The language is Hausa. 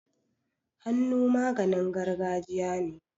Hannu maganin gargajiya ne.